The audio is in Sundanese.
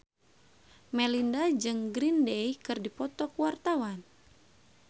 Melinda jeung Green Day keur dipoto ku wartawan